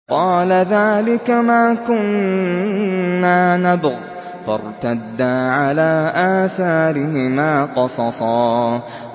قَالَ ذَٰلِكَ مَا كُنَّا نَبْغِ ۚ فَارْتَدَّا عَلَىٰ آثَارِهِمَا قَصَصًا